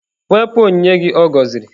Wepụ onyinye gị ọ gọziri!.